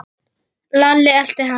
Lalli elti hann.